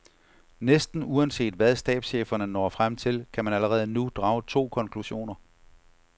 Næsten uanset hvad stabscheferne når frem til, kan man allerede nu drage to konklusioner.